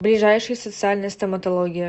ближайший социальная стоматология